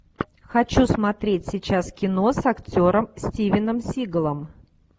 хочу смотреть сейчас кино с актером стивеном сигалом